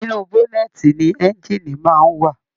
Inú bọ̀nẹ̀ẹ́tí ní ẹ̀ngiini máa n wa.